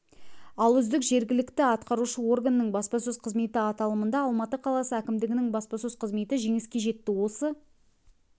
ал үздік жергілікті атқарушы органның баспасөз қызметі аталымында алматы қаласы әкімдігінің баспасөз қызметі жеңіске жетті осы